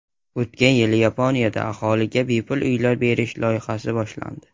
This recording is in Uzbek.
O‘tgan yili Yaponiyada aholiga bepul uylar berish loyihasi boshlandi.